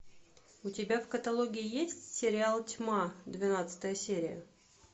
у тебя в каталоге есть сериал тьма двенадцатая серия